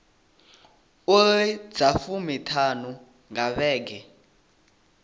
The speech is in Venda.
iri dza fumiṱhanu nga vhege